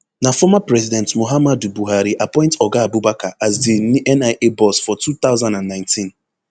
na former president muhammadu buhari appoint oga abubakar as di nia boss for two thousand and nineteen